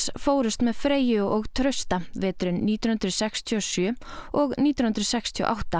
fórust með Freyju og Trausta veturinn nítján hundruð sextíu og sjö og nítján hundruð sextíu og átta